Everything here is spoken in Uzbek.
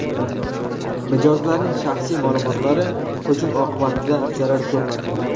Mijozlarning shaxsiy ma’lumotlari hujum oqibatida zarar ko‘rmadi.